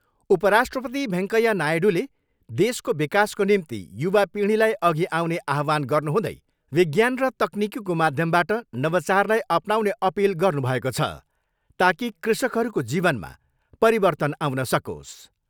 उप राष्ट्रपति भेङ्कैया नायडूले देशको विकासको निम्ति युवा पिँढीलाई अघि आउने आव्हान गर्नुहुँदै विज्ञान र तकनिकीको माध्यमबाट नवचारलाई अपनाउने अपिल गर्नुभएको छ, ताकि कृषकहरूको जीवनमा परिवर्तन आउन सकोस्।